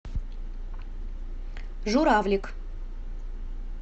журавлик